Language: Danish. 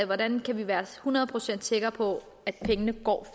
hvordan vi kan være hundrede procent sikre på at pengene